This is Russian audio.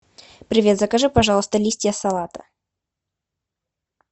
привет закажи пожалуйста листья салата